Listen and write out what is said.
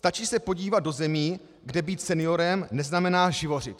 Stačí se podívat do zemí, kde být seniorem neznamená živořit.